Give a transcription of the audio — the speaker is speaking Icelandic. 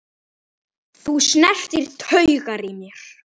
Þú snertir taugar í mér.